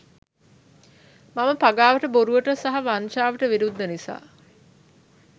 මම පගාවට බොරුවට සහ වංචාවට විරුද්ද නිසා